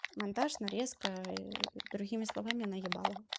монтаж нарезка другими словами наебалово